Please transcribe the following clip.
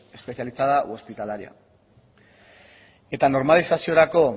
especializada u hospitalaria eta normalizaziorako